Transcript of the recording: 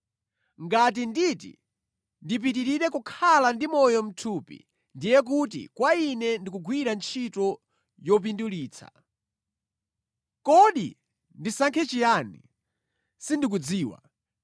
Ngati nditi ndipitirire kukhala ndi moyo mʼthupi ndiye kuti kwa ine ndi kugwira ntchito yopindulitsa. Kodi ndisankhe chiyani? Sindikudziwa.